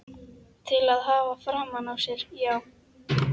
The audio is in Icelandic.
Til að hafa framan á sér, já.